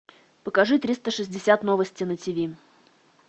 покажи триста шестьдесят новости на тиви